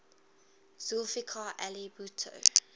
zulfikar ali bhutto